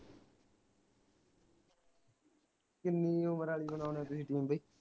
ਕਿੰਨੀ ਉਮਰ ਆਲੀ ਬਣਾਉਣੇ ਤੁਹੀ team ਵੇ